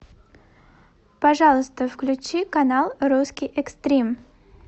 пожалуйста включи канал русский экстрим